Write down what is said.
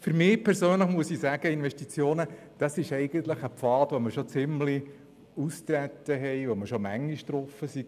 Für mich persönlich sind Investitionen ein Pfad, der schon ziemlich ausgetreten ist, den wir schon oft gegangen sind.